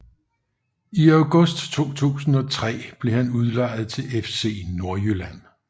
I august 2003 blev han udlejet til FC Nordjylland